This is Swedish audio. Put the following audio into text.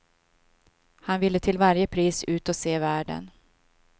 Han ville till varje pris ut och se världen.